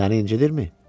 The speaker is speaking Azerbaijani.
Səni incidirmi?